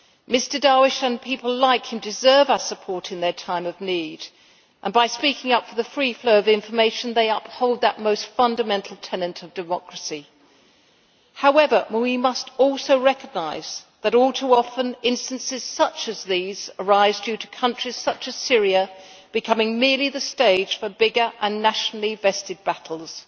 Mr Darwish and people like him deserve our support in their time of need, and by speaking up for the free flow of information they uphold that most fundamental tenant of democracy. However, we must also recognise that all too often, instances such as these arise due to countries such as Syria becoming merely the stage for bigger and nationally vested battles.